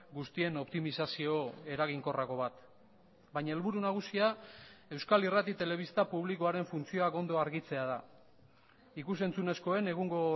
guztien optimizazio eraginkorrago bat baina helburu nagusia euskal irrati telebista publikoaren funtzioak ondo argitzea da ikus entzunezkoen egungo